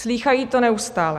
Slýchají to neustále.